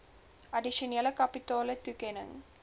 addisionele kapitale toekenning